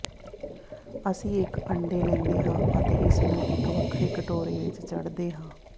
ਅਸੀਂ ਇਕ ਅੰਡੇ ਲੈਂਦੇ ਹਾਂ ਅਤੇ ਇਸ ਨੂੰ ਇਕ ਵੱਖਰੇ ਕਟੋਰੇ ਵਿਚ ਚੜ੍ਹਦੇ ਹਾਂ